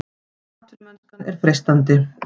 Atvinnumennskan er freistandi